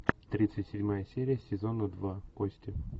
тридцать седьмая серия сезона два кости